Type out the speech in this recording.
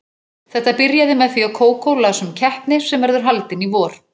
Þetta byrjaði með því að Kókó las um keppni sem verður haldin í vor.